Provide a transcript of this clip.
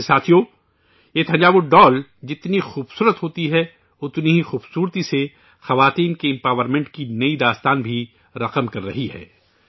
ویسے ساتھیو، یہ تھنجاور ڈول اتنی خوبصورت ہوتی ہے، اتنی ہی خوبصورتی سے ، یہ خواتین کو بااختیار بنانے کی نئی کہانی بھی لکھ رہی ہے